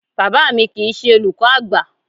Bàbá mi kìí ṣe olùkọ́ àgbà.